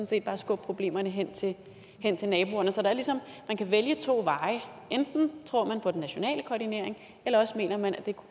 set bare skubbe problemerne hen til naboerne så man kan vælge to veje enten tror man på den nationale koordinering eller også mener man at det er